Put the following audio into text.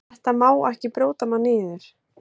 Þetta má ekki brjóta mann niður.